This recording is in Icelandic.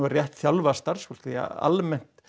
rétt þjálfað starfsfólk því að almennir